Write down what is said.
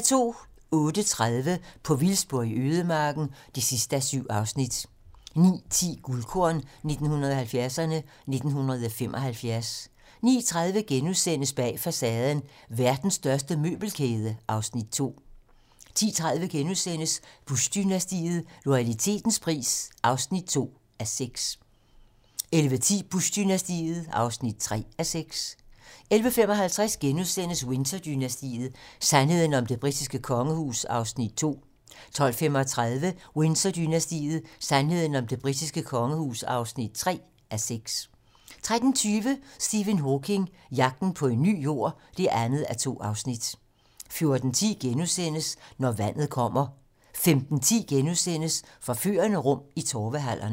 08:30: På vildspor i ødemarken (7:7) 09:10: Guldkorn 1970'erne: 1975 09:30: Bag facaden: Verdens største møbelkæde (Afs. 2)* 10:30: Bush-dynastiet - loyalitetens pris (2:6)* 11:10: Bush-dynastiet (3:6) 11:55: Windsor-dynastiet: Sandheden om det britiske kongehus (2:6)* 12:35: Windsor-dynastiet: Sandheden om det britiske kongehus (3:6) 13:20: Stephen Hawking: Jagten på en ny Jord (2:2) 14:10: Når vandet kommer * 15:10: Forførende rum i Torvehallerne *